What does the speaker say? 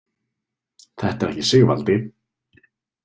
Þetta er ekki Sigvaldi?